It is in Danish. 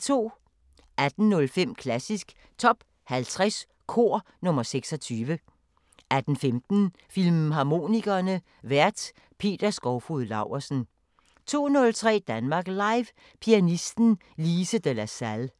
18:05: Klassisk Top 50 Kor – nr. 26 18:15: Filmharmonikerne: Vært Peter Skovfoged Laursen 02:03: Danmark Live – Pianisten Lise de la Salle